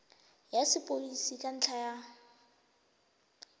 ya sepodisi ka ntlha ya